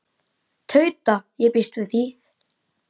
Tauta: Ég býst við því.